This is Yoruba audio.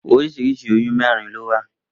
Oríṣiríṣi oyún mẹ́rin lówà